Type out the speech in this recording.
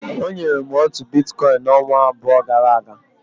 O nyere m otu Biticoin ọnwa abụọ gara aga.